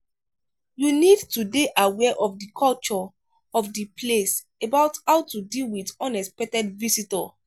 you need to dey aware of di culture of di place about how to deal with unexpected visitor